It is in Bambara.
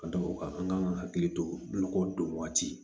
Ka d'o kan an kan ka hakili to lɔkɔ don waati